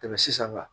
Tɛmɛ sisan